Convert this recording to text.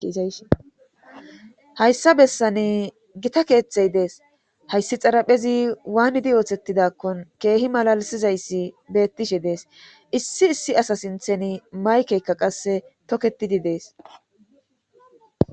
Hayssa bessan gita keeththey dees hayssi xaraphezi waanidi oothettidakkon keehi malalisizayssi bettishe dees issi issi asa sinthen maykeykka qasse toketidi dees